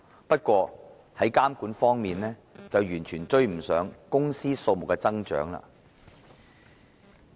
不過，監管工作卻完全追不上公司數目的增長。